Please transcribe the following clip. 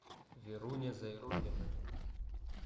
веруня зайруллина